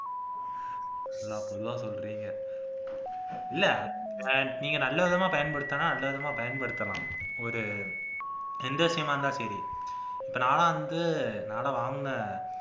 நல்லா பொதுவா சொல்றீங்க இல்லை நீங்க நல்ல விதமா பயன்படுத்துனா நல்ல விதமா பயன்படுத்தலாம் ஒரு trend விசயமா இருந்தா சரி இப்ப நான்லாம் வந்து நான் எல்லாம் வாங்கின